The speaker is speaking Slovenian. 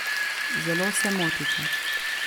Zelo se motite.